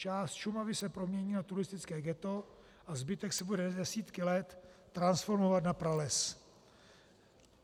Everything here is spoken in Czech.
Část Šumavy se promění na turistické ghetto a zbytek se bude desítky let transformovat na prales.